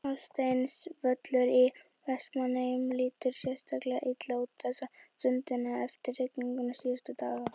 Hásteinsvöllur í Vestmannaeyjum lítur sérstaklega illa út þessa stundina eftir rigningu síðustu daga.